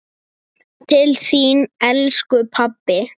Til þín, elsku pabbi.